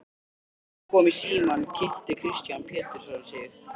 Þegar ég kom í símann kynnti Kristján Pétursson sig.